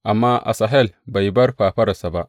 Amma Asahel bai bar fafararsa ba.